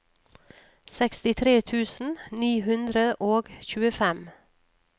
sekstitre tusen ni hundre og tjuefem